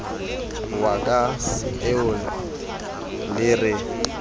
wa ka eo le re